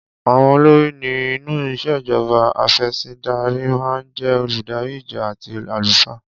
Àwọn olórí ni inú ìṣèjọba afẹ̀sìndarímáa ń jé oludari ìjọ àti àlùfáà.